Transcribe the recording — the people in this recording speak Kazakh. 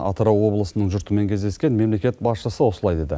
атырау облысының жұртымен кездескен мемлекет басшысы осылай деді